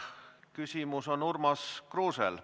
Küsimus on Urmas Kruusel.